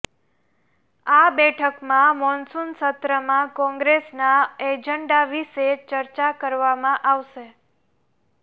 આ બેઠકમાં મોન્સૂન સત્રમાં કોંગ્રેસના એજન્ડા વિશે ચર્ચા કરવામાં આવશે